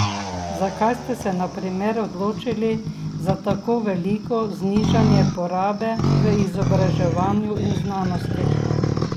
Zakaj ste se na primer odločili za tako veliko znižanje porabe v izobraževanju in znanosti?